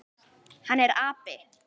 Hann er api.